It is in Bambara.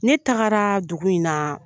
Ne tagara dugu in na